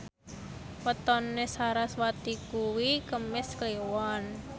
wetone sarasvati kuwi Kemis Kliwon